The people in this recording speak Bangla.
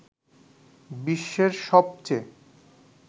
বিশ্বের সবচেয়ে